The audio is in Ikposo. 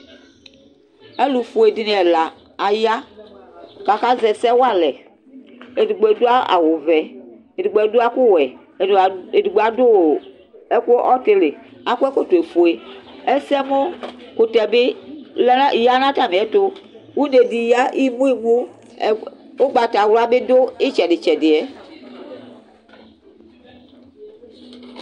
alo fue dini ɛla aya k'aka zɛ ɛsɛ wa alɛ edigbo ado awu vɛ edigbo ado ɛku wɛ edigbo ado ɛku ɔtili akɔ ɛkɔtɔ fue ɛsɛmò kutɛ bi ya n'atamiɛto une di ya imu imu ugbatawla bi do itsɛdi tsɛdiɛ